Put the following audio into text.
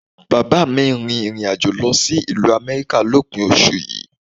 Bàbá mi ń rìnrìn àjò lọ sí ìlú Amẹ́ríkà lópin oṣù yìí